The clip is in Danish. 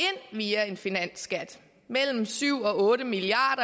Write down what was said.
via en finansskat mellem syv og otte milliard